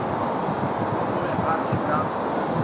a be a le ka